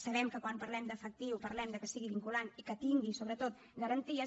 sabem que quan parlem d’ efectiu parlem de que sigui vinculant i que tingui sobretot garanties